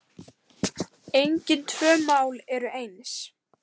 Engin tvö mál eru eins.